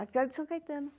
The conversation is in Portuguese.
Aquela de São Caetano.